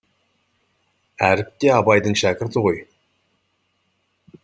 әріп те абайдың шәкірті ғой